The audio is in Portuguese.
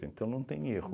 Então não tem erro.